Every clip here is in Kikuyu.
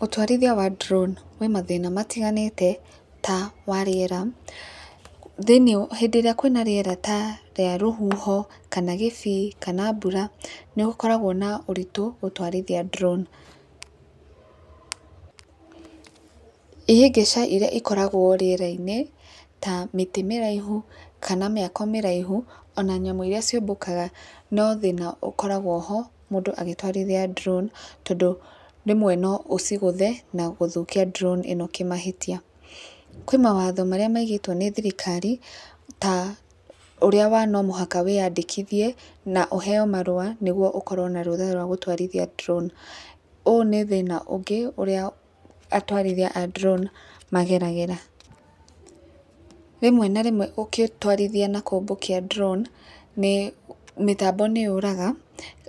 Ũtwarithia wa drone wĩ mathĩna matiganĩte ta, wa rĩera, rĩrĩa kwĩna rĩera ta rĩa rũhuho kana kĩbii kana mbura, nĩ gĩkoragwo na ũritũ wa gũtwarithia drone . Ihĩngĩca ikoragwo rĩerainĩ ta mĩtĩ mĩraihu kana mĩako mĩraihu ona nyamũ iria ciũmbũka no thĩna ũkoragwo ho mũndũ agĩtwarithia drone tondũ rĩmwe no ũcigũthe na gũthũkia drone kĩmahĩtia. Kwĩ mawatho marĩa maigĩtwo nĩ thirikari ta ũrĩa ta no mũhaka wĩya ndĩkithie na ũheo marũa nĩguo ũkorwo na rũtha gwa tũrathiĩ drone, ũũ nĩ thĩna ũngĩ ũrĩa atwarithia a drone mageragĩra. Rĩmwe na rĩmwe ũgĩtwarithia na kũmbũkia drone mĩtambo nĩ yũraga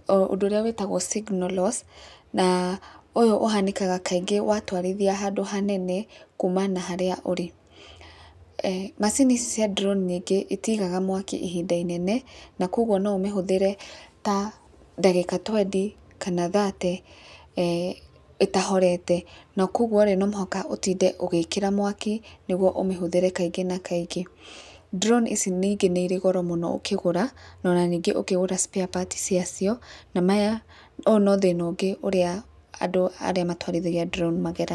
ũndũ ũrĩa wĩtagwo signal loss na ũndũ ũyũ ũhanĩkaga wa twarithia handũ hanene na harĩa ũrĩ, macini ici cia drone ningĩ citigaga mwaki ihinda inene na kwoguo no ũmĩhũthĩte ta ndagĩka twendi, kana thate ĩtahorete na kwoguo no mũhaka ũtinde ũgĩkĩra mwaki nĩguo ũmĩhũthĩre kaingĩ na kaingĩ. drone ici ningĩ nĩ irĩ goro ningĩ ũkĩgũra no na ningĩ ũkĩgũra spare parts ciacio maya ũũ no thĩna ũngĩ andũ arĩa matwarithagia drone mageragĩra.